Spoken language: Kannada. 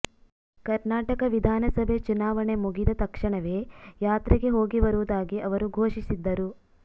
ಕರ್ನಾಟಕ ವಿಧಾನಸಭೆ ಚುನಾವಣೆ ಮುಗಿದ ತಕ್ಷಣವೇ ಯಾತ್ರೆಗೆ ಹೋಗಿಬರುವುದಾಗಿ ಅವರು ಘೋಷಿಸಿದ್ದರು